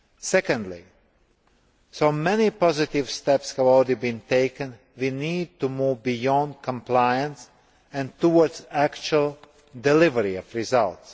Secondly, though many positive steps have already been taken, we need to move beyond compliance and towards actual delivery of results.